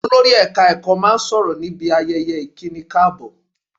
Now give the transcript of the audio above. Olórí ẹ̀ka ẹ̀kọ́ máa sọ̀rọ̀ níbi ayẹyẹ ìkíni káàbọ̀